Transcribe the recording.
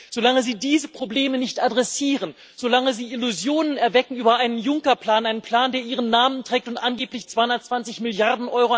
Solange Sie diese Probleme nicht adressieren, solange Sie Illusionen erwecken über einen Juncker Plan einen Plan, der Ihren Namen trägt und angeblich 220 Mrd.